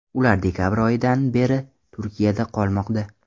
Ular dekabr oyidan beri Turkiyada qolmoqda.